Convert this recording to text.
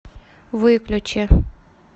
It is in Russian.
выключи